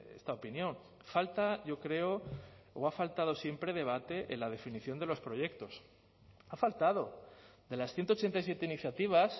esta opinión falta yo creo o ha faltado siempre debate en la definición de los proyectos ha faltado de las ciento ochenta y siete iniciativas